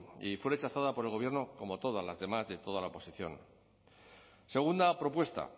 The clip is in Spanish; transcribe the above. y fue rechazada por el gobierno como todas las demás de toda la oposición segunda propuesta